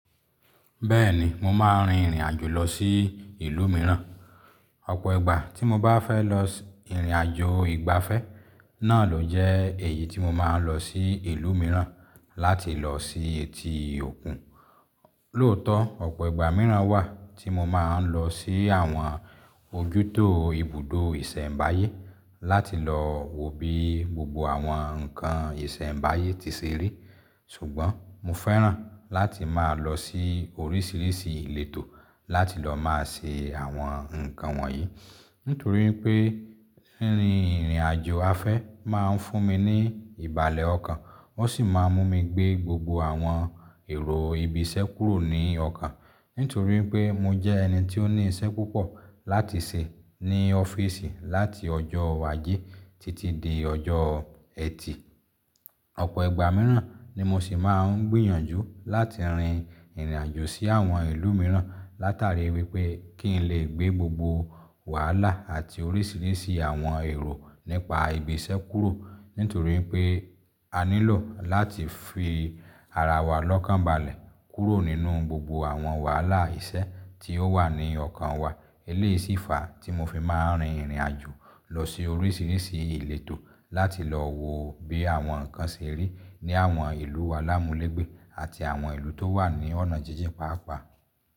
Bẹ́ẹ̀ni mo máa ń rin ìrìn àjò lọ sí ìlú mìíràn. Ọ̀pọ̀ ìgbà tí mo bá fẹ́ lọ ìrìn àjò ìgbafẹ́ náà ló jẹ́ èyí tí mo máa ń lọ sí ìlú mìíràn láti lọ sí etí òkun. Lóòótọ́ ọ̀pọ̀ ìgbà mìíràn wà tí mo máa ń lọ sí àwọn ojútó ibùdó ìṣẹ̀mbáyé láti lọ wo bí gbogbo àwọn nǹkan ìṣẹ̀mbáyé ti ṣe rí. Ṣùgbọ́n mo fẹ́ràn láti máa lọ sí oríṣiríṣi ìletò láti lọ máa ṣe àwọn nǹkan wọ̀nyí nítorí pé rinrin ìrìn àjò afẹ́ máa ń fún mi ní ìbàlẹ̀ ọkàn, ó sì máa mú mi gbé gbogbo àwọn èrò ibi iṣẹ́ kúrò ní ọkàn. Nítorí pé mo jẹ́ ẹni tí ó ní iṣẹ́ púpọ̀ láti ṣe ní ọ́fíìsì láti ọjọ́ ajé títí dé ọjọ́ ẹtì. Ọ̀pọ̀ ìgbà mìíràn ni mo sì máa ń gbìyànjú láti rin ìrìn àjò sí àwọn ìlú mìíràn látàrí wípé kí n lè gbé gbogbo wàhálà àti oríṣiríṣi àwọn èrò nípa ibi iṣẹ́ kúrò. Nítorí pé a nílò láti fi ara wa lọ́kànbalẹ̀ kúrò nínú gbogbo àwọn wàhálà iṣẹ́ tí ó wà ní ọkàn wa. Eléyìí sì fa tí mo fi máa ń rin ìrìn àjò lọ sí oríṣiríṣi ìletò láti lọ wo bí àwọn nǹkan ṣe rí ní àwọn ìlú alámúlẹ̀gbẹ́ àti àwọn ìlú tó wà ní ọ̀nà jíjìn pàápàá.